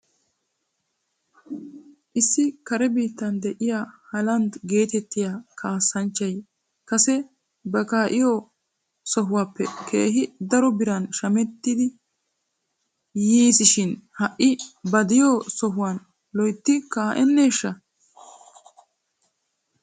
Issi kare biittan de'iyaa haaland geetettiyaa kaassanchchay kase ba kaa'iyoo sohuwaappe keehi daro biran shamettidi yiisi shin ha'i ba de'iyoo sohuwaan loyttidi kaa'aneeshsha?